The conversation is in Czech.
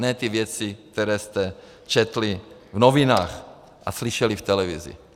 Ne ty věci, které jste četli v novinách a slyšeli v televizi.